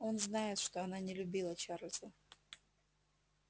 он знает что она не любила чарлза